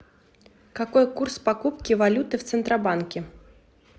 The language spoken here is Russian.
какой курс покупки валюты в центробанке